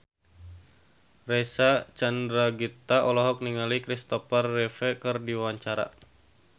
Reysa Chandragitta olohok ningali Christopher Reeve keur diwawancara